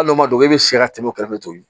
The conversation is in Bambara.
Hali n'o man don i bɛ si ka tɛmɛ o kɛrɛfɛ ten